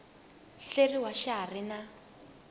hleriwa xa ha ri na